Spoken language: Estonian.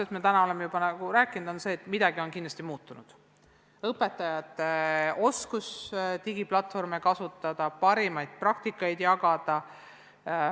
Sellest me oleme täna juba rääkinud, et midagi on kindlasti muutunud, näiteks õpetajate oskus digiplatvorme kasutada, parimaid praktikaid jagada.